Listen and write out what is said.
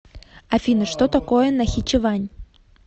афина что такое нахичевань